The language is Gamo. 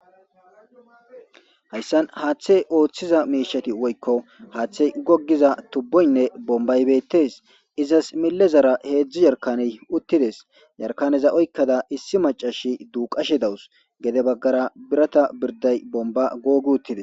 hayssan haaththey ooththiza miishati woykko haaththey gogiza tubboynne bombaybeettes izas millezara heedzdzu yarkaney uttides yarkaneza oykkada issi macashi duuqashe dawus gede baggara birata birday bomba googi uttides